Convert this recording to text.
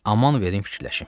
Aman verin fikirləşim.